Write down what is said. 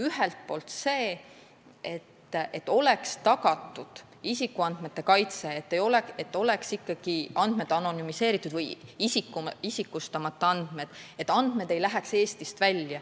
Ühelt poolt see, et oleks tagatud isikuandmete kaitse, et andmed oleksid ikkagi anonümiseeritud või isikustamata, et andmed ei läheks Eestist välja.